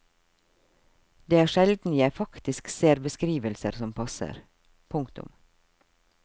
Det er sjelden jeg faktisk ser beskrivelser som passer. punktum